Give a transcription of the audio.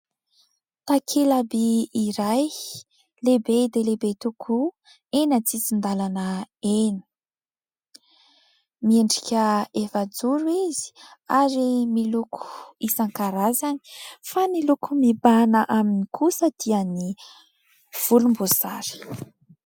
Takela-by iray lehibe dia lehibe tokoa eny antsisin-dalana eny, miendrika efajoro izy ary miloko isankarazany fa ny loko mibahana aminy kosa dia ny volomboasary.